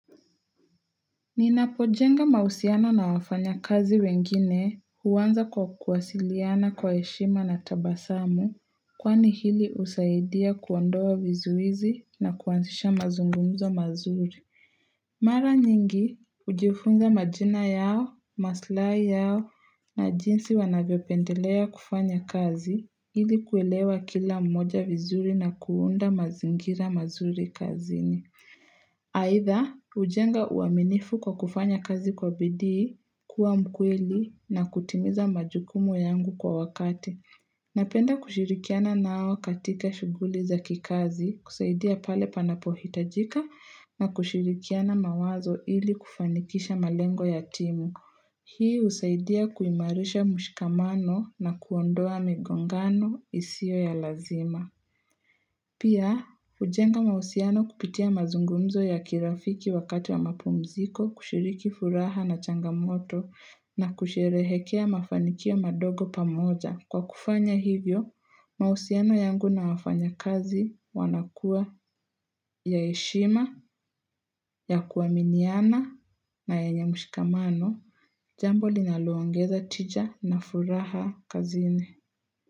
Ninapojenga mahusiano na wafanya kazi wengine huaanza kwa kuwasiliana kwa heshima na tabasamu kwani hili husaidia kuondoa vizuizi na kuanzisha mazungumzo mazuri. Mara nyingi, hujifunza majina yao, maslahi yao na jinsi wanavyopendelea kufanya kazi ili kuelewa kila mmoja vizuri na kuunda mazingira mazuri kazini. Aidha, hujenga uaminifu kwa kufanya kazi kwa bidii, kuwa mkweli na kutimiza majukumu yangu kwa wakati Napenda kushirikiana nao katika shuguli za kikazi, kusaidia pale panapohitajika na kushirikiana mawazo ili kufanikisha malengo ya timu Hii husaidia kuimarisha mushikamano na kuondoa migongano isiyo ya lazima Pia, hujenga mauhusiano kupitia mazungumzo ya kirafiki wakati wa mapumziko kushiriki furaha na changamoto na kusherehekea mafanikia madogo pamoja. Kwa kufanya hivyo, mahusiano yangu na wafanyakazi wanakuwa ya heshima, ya kuaminiana na yenye mushikamano. Jambo linaloongeza tija na furaha kazini.